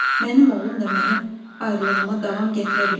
Mənim oğlum da mənim ayrılığıma davam gətirə bilməz.